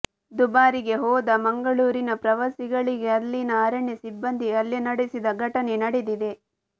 ದುಬಾರೆಗೆ ಹೋದ ಮಂಗಳೂರಿನ ಪ್ರವಾಸಿಗಳಿಗೆ ಅಲ್ಲಿನ ಅರಣ್ಯ ಸಿಬ್ಬಂದಿ ಹಲ್ಲೆ ನಡೆಸಿದ ಘಟನೆ ನಡೆದಿದೆ